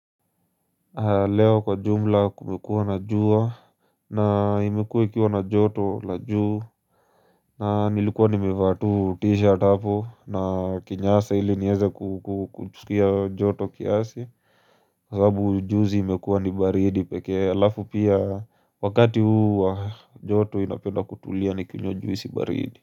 Leo kwa jumla kumekuwa na jua na imekuwa ikiwa na joto la juu na nilikuwa nimevaa tu t-shirt hapo na kinyasa ili nieze kusikia joto kiasi sababu juzi imekuwa ni baridi pekee alafu pia wakati huu joto inapenda kutulia ni kinywa juisi baridi.